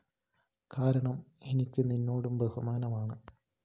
കാരണം എനിക്ക് നിന്നോടും ബഹുമാനമാണ്